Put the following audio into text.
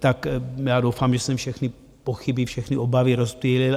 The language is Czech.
Tak já doufám, že jsem všechny pochyby, všechny obavy rozptýlil.